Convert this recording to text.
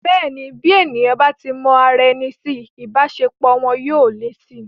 Bẹ́ẹ̀ni, tí èèyàn bá mọ ara wọn si, ìbáṣepọ̀ wọn yóò le si